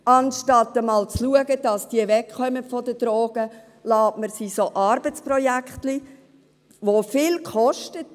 Anstatt einmal dafür zu sorgen, dass sie wegkommen von den Drogen, lässt man sie an Arbeitsprojektlein teilnehmen, die viel kosten.